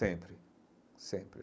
Sempre, sempre.